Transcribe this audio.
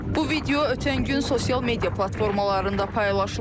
Bu video ötən gün sosial media platformalarında paylaşılıb.